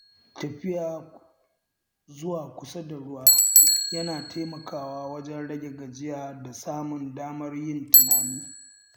Tafiya zuwa kusa da ruwa yana taimakawa wajen rage gajiya da samun damar yin tunani.